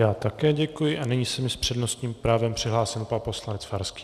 Já také děkuji a nyní se mi s přednostním právem přihlásil pan poslanec Farský.